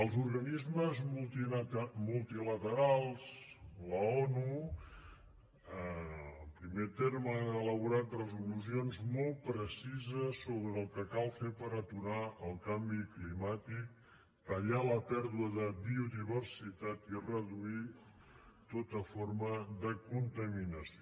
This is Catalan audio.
els organismes multilaterals i l’onu en primer terme han elaborat resolucions molt precises sobre el que cal fer per aturar el canvi climàtic tallar la pèrdua de biodiversitat i reduir tota forma de contaminació